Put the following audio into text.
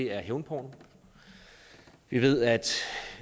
er hævnporno vi ved at